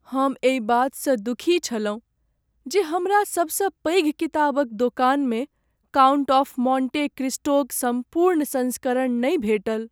हम एहि बातसँ दुखी छलहुँ जे हमरा सबसँ पैघ किताबक दोकानमे "काउंट ऑफ मोंटे क्रिस्टो"क सम्पूर्ण संस्करण नहि भेटल।